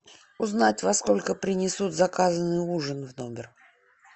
узнать во сколько принесут заказанный ужин в номер